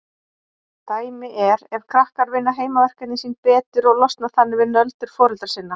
Dæmi er ef krakkar vinna heimaverkefnin sín betur og losna þannig við nöldur foreldra sinna.